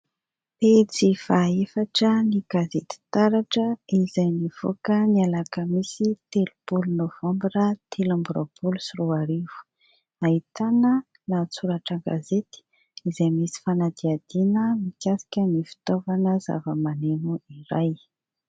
Pejy faha efatra ny gazety taratra izay nivoaka ny alakamisy telopolo novambra telo amby roapolo sy roarivo. Ahitana lahatsoratra an-gazety izay misy fanadihadihana mikasika ny fitaovana zavamaneno iray.